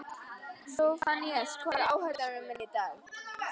Sophanías, hvað er á áætluninni minni í dag?